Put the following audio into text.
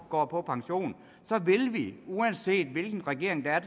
går på pension vil vi uanset hvilken regering der er